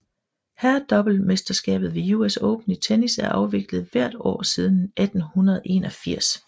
Herredoublemesterskabet ved US Open i tennis er afviklet hvert år siden 1881